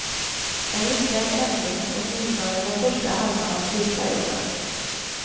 En lyckad ändring, åtminstone i den första halvan av slutperioden.